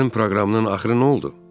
Sənin proqramının axırı nə oldu?